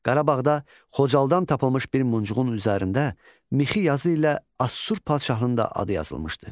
Qarabağda Xocalıdan tapılmış bir muncuğun üzərində mixi yazı ilə Assur padşahının adı yazılmışdı.